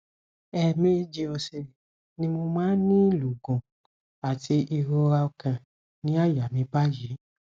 èèmejì òsè ni mo máa ń ní ìlọgun àti ìrora ọkàn ní àyà mi báyìí